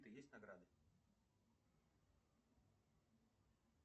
есть награды